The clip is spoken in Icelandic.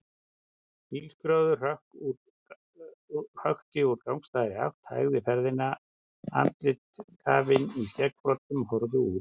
Bílskrjóður hökti úr gagnstæðri átt, hægði ferðina, andlit kafin í skeggbroddum horfðu út.